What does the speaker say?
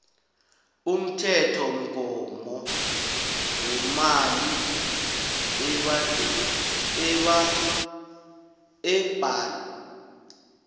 umthethomgomo wemali ebhadelwako